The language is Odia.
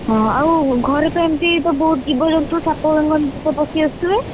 ଓହୋ ଆଉ ଘରେ କେମତି ସବୁ ଜୀବଜନ୍ତୁ, ସାପ, ବେଙ୍ଗ ଏମିତିତ ସବୁ ପଶି ଆସୁଥିବେ?